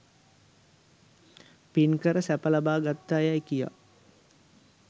පින් කර සැප ලබා ගත්තායැයි කියා